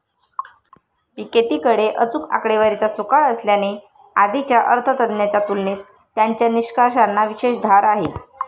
पिकेतींकडे अचूक आकडेवारीचा सुकाळ असल्याने आधीच्या अर्थतज्ञांच्या तुलनेत त्यांच्या निष्कर्षांना विशेष धार आहे.